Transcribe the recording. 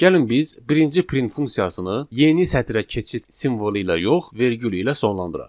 Gəlin biz birinci print funksiyasını yeni sətrə keçid simvolu ilə yox, vergül ilə sonlandıraq.